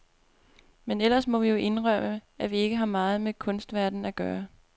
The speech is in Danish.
Men ellers må vi jo indrømme, at vi ikke har meget med kunstverdenen at gøre.